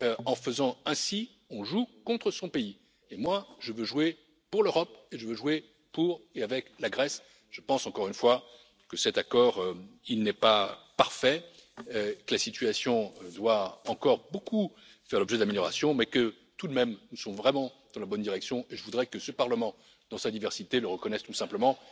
En faisant ainsi, on joue contre son pays et moi, je veux jouer pour l'Europe et je veux jouer pour et avec la Grèce. Je pense encore une fois que cet accord n'est pas parfait, que la situation doit faire encore l'objet de nombreuses améliorations, mais que tout de même, nous sommes vraiment dans la bonne direction, et je voudrais que ce Parlement dans sa diversité le reconnaisse tout simplement.